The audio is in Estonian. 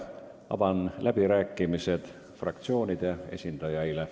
Avan läbirääkimised fraktsioonide esindajaile.